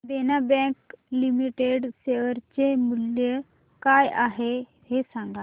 देना bank limited share चे मूल्य काय आहे हे सांगा